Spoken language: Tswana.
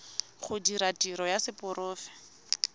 go dira tiro ya seporofe